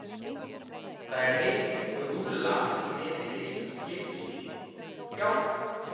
Það er heil rúlla niðri í geymslu hjá okkur, já.